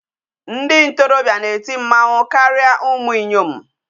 Ndị ntorobịa na-eti mmanwụ karịa ụmụ inyom.